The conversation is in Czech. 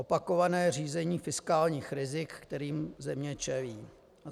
Opakované řízení fiskálních rizik, kterým země čelí.